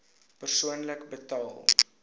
persoonlik betaal